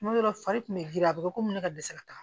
Tuma dɔw la fari kun bɛ girin a bɛ komi ne ka dɛsɛ ka taa